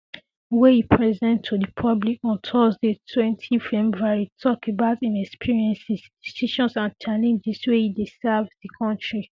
wey e present to di public on thursday twenty february tok about im experiences decisions and challenges wen e dey serve di kontri